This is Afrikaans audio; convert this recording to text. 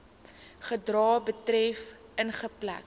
gedrag betref ingeperk